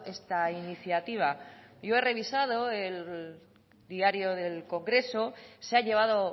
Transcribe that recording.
esta iniciativa yo he revisado el diario del congreso se ha llevado